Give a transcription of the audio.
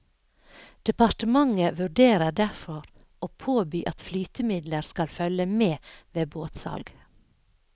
Departementet vurderer derfor å påby at flytemidler skal følge med ved båtsalg.